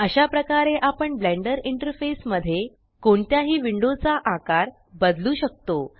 अशा प्रकारे आपण ब्लेंडर इंटरफेस मध्ये कोणत्याही विंडो चा आकार बदलू शकतो